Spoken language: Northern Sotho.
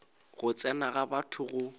go tsena ga batho go